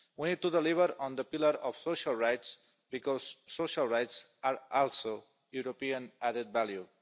We need to deliver on the pillar of social rights, because social rights are also European added value.